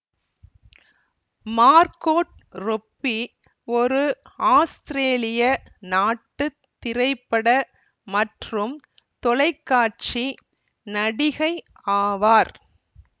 Margot Robbie ஒரு ஆஸ்திரேலிய நாட்டு திரைப்பட மற்றும் தொலைக்காட்சி நடிகை ஆவார்